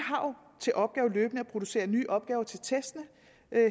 til opgave løbende at producere nye opgaver til testene